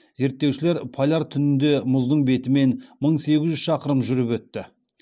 зерттеушілер поляр түнінде мұздың бетімен мың сегіз жүз шақырым жүріп өтті